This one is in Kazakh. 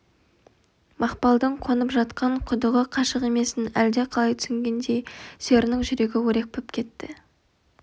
мақпалдың қонып жатқан құдығы қашық емесін әлде қалай түйсінгендей серінің жүрегі өрекпіп кетті